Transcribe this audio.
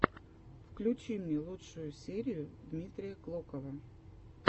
включи мне лучшую серию дмитрия клокова